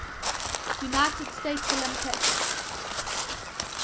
united states olympic